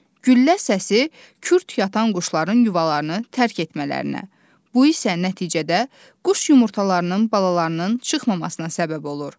Güllə səsi kürt yatan quşların yuvalarını tərk etmələrinə, bu isə nəticədə quş yumurtalarının balalarının çıxmamasına səbəb olur.